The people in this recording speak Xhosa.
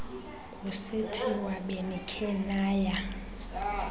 kusithiwa benikhe naya